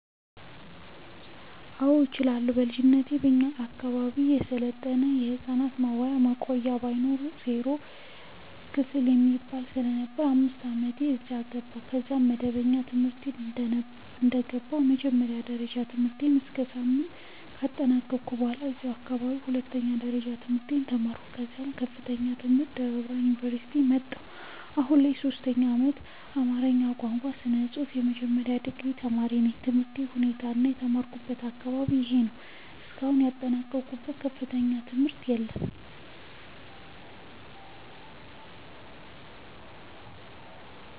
አዎ እችላለሁ በልጅነቴ እኛ አካባቢ የሰለጠነ የህፃናት መዋያና ማቆያ ባይኖርም ዜሮ ክፍል የሚባል ስለነበር በ5አመቴ አዛ ገባሁ። ከዛም መደበኛ ትምህርቴን ደነባ የመጀመሪያ ደረጃ ትምህርትቤት እስከ ስምንት ካጠናቀኩ በኋላ አዛው አካባቢ ሁለተኛ ደረጃ ትምህርቴን ተማርኩ ከዛም ለከፍተኛ ትምህር ደብረብርሃን ዮንቨርሲቲ መጣሁ። አሁን ላይ የሶስተኛ አመት የአማርኛ ቋንቋ እና ስነፅሁፍ የመጀመሪያ ዲግሪ ተማሪነኝ። የትምህርት ሁኔታዬ እና የተማርኩበት አካባቢ ይህ ነው። እስካሁን የጠናቀኩት ከፍተኛ ትምህርት የለም።